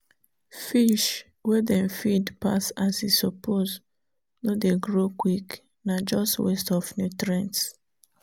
fish wey dem feed pass as e suppose no dey grow quick—na just waste of nutrients.